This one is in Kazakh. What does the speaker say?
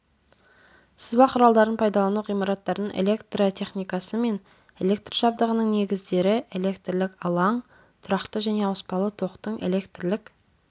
сызба құралдарын пайдалану ғимараттардың электротехникасы мен электр жабдығының негіздері электрлік алаң тұрақты және ауыспалы токтың электрлік